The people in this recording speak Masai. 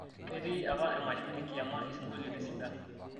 ketii apa emasho enkiama ising'olioitin sidan